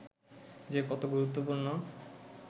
যে কত গুরুত্বপূর্ণ